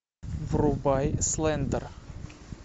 врубай слендер